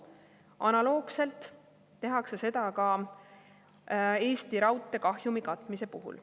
Analoogselt tehakse seda Eesti Raudtee kahjumi katmise puhul.